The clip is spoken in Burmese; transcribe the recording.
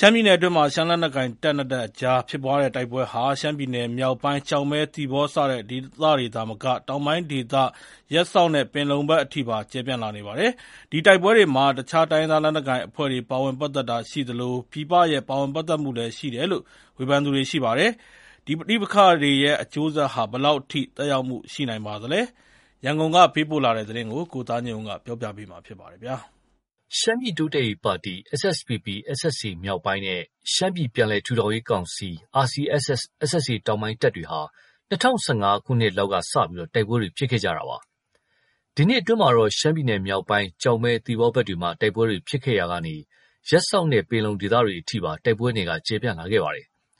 ရှမ်းပြည်နယ်အတွင်းမှာ ရှမ်းလက်နက်ကိုင် တပ်နှစ်တပ်အကြား ဖြစ်ပွားတဲ့ တိုက်ပွဲတွေဟာ ရှမ်းပြည်နယ်မြောက်ပိုင်း ကျောက်မဲ၊ သီပေါ စတဲ့ဒေသတွေသာမက တောင်ပိုင်းဒေသ ရပ်စောက်၊ ပင်လုံဘက်ထိပါ ကျယ်ပြန့်လာနေပါတယ်။ ဒီတိုက်ပွဲတွေမှာ အခြား တိုင်းရင်းသားလက်နက်ကိုင်အဖွဲ့တွေ ပါဝင်ပတ်သက်တာရှိသလို ပြည်ပရဲ့ ပါဝင်ပတ်သက်မှုလည်း ရှိတယ်လို့ ဝေဖန်သူတွေ ရှိပါတယ်။ ဒီပဋိပက္ခတွေရဲ့ အကျိုးဆက်ဟာ ဘယ်လောက်ထိ သက်ရောက်မှု ရှိနိုင်ပါသလဲ။ ရန်ကုန်ကပေးပို့လာတဲ့သတင်း ကိုသားညွန့်ဦး ပြောပြမှာပါ။ ရှမ်းပြည်တိုးတက်ရေးပါတီ SSPP/SSA မြောက်ပိုင်းနဲ့ ရှမ်းပြည်ပြန်လည်ထူထောင်ရေးကောင်စီ RCSS/SSA တောင်ပိုင်းတပ်တွေဟာ ၂၀၁၅ ခုနှစ်လောက်ကစတင်ပြီး တိုက်ပွဲတွေ ဖြစ်ခဲ့တာပါ။ ဒီနှစ်အတွင်းမှာတော့ ရှမ်းပြည်နယ်မြောက်ပိုင်း ကျောက်မဲ၊ သီပေါဘက်တွေမှာ တိုက်ပွဲတွေ ဖြစ်ခဲ့ရာက ရပ်စောက်နဲ့ ပင်လုံဒေသဘက်တွေ အထိပါ တိုက်ပွဲနယ်က ကျယ်ပြန့်လာခဲ့တာပါ